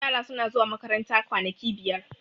yara suna zuwa makaranta kwanaki biyar